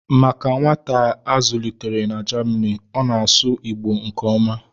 Maka nwata a zụlitere na Jamanị, ọ na-asụ Igbo nke ọma